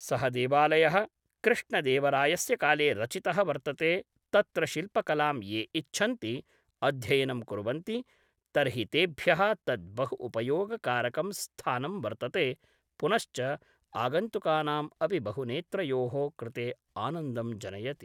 सः देवालयः कृष्णदेवरायस्य काले रचितः वर्तते तत्र शिल्पकलां ये इच्छन्ति अध्ययनं कुर्वन्ति तर्हि तेभ्यः तत् बहु उपयोगकारकं स्थानम् वर्तते पुनश्च आगन्तुकानाम् अपि बहु नेत्रयोः कृते आनन्दं जनयति